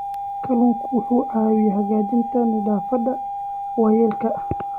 Kalluunku wuxuu caawiyaa hagaajinta nafaqada waayeelka.